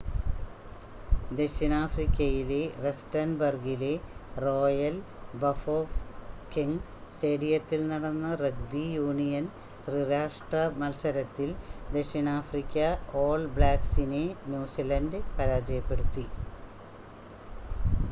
ദക്ഷിണാഫ്രിക്കയിലെ റസ്റ്റൻബർഗിലെ Royal Bafokeng സ്റ്റേഡിയത്തിൽ നടന്ന റഗ്ബി യൂണിയൻ ത്രിരാഷ്‌ട്ര മത്സരത്തിൽ ദക്ഷിണാഫ്രിക്ക ഓൾ ബ്ലാക്ക്സിനെ ന്യൂസിലൻഡ് പരാജയപ്പെടുത്തി